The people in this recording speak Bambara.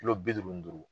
Kilo bi duuru ni duuru